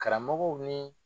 Karamɔgɔw ni